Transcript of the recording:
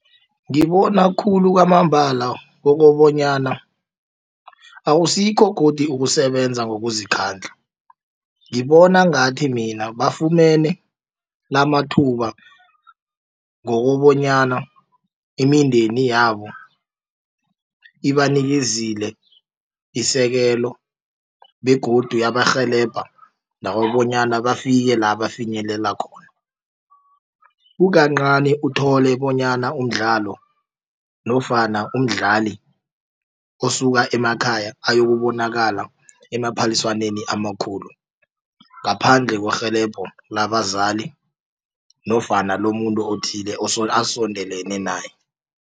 Ngibona khulu kwamambala kokobanyana akusikho godi ukusebenza ngokuzikhandla ngibona ngathi mina bafumene lamathuba ngokobanyana imindeni yabo ibanikezile isekelo begodu yabarhelebha nabo bonyana bafike la bafinyelela khona. Kukancani uthole bonyana umdlalo nofana umdlali osuka emakhaya ayokubonaka emaphaliswaneni amakhulu ngaphandle kwerhelebho labazali nofana lomuntu othize osondelene naye.